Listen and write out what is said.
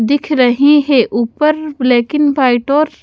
दिख रही है ऊपर ब्लैक एंड वाइट और--